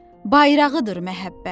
bayrağıdır məhəbbət.